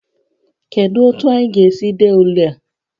Kedu otu anyị ga-esi dee ule a?